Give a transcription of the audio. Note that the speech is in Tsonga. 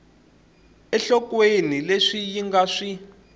enhlokweni leswi yi nga swi